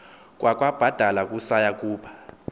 kwakwabadala kusaya kuba